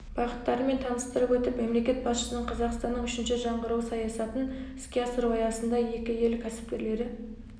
бағыттарымен таныстырып өтіп мемлекет басшысының қазақстанның үшінші жаңғыруы саясатын іске асыру аясында екі ел кәсіпкерлері